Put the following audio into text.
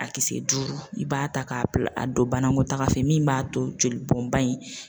A kisɛ duuru i b'a ta k'a bila a don banakɔtaga fɛ min b'a to joli bɔnba in.